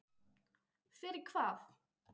Fyrir hvað?